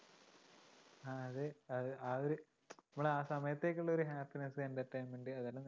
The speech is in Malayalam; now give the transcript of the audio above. അതെ ആ ഒരു നമ്മള് ആ സമയത്തേക്കുള്ളൊരു happiness entertainment അതെല്ലാം